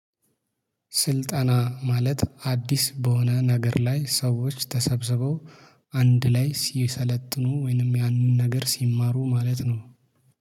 ስልጠና ማለት አዲስ በሆነ ነገር ላይ ሰዎች ተሰብስበው አንድ ላይ ሲሰለጥኑ ወይንም ያንን ነገር ሲማሩ ማለት ነው